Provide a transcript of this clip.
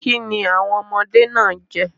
Kini awọn ọmọde naa n jẹ?